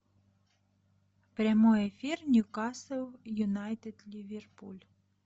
прямой эфир ньюкасл юнайтед ливерпуль